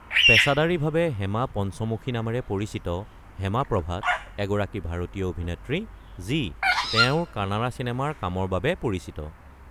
পেছাদাৰী ভাবে হেমা পঞ্চমুখী নামেৰে পৰিচিত হেমা প্ৰভাথ এগৰাকী ভাৰতীয় অভিনেত্ৰী যি তেওঁঁৰ কানাড়া চিনেমাৰ কামৰ বাবে পৰিচিত।